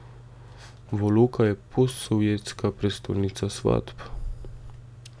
Voloka je postsovjetska prestolnica svatb.